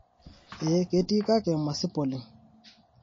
eeh ketii kake masip oleng